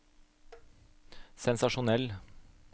sensasjonell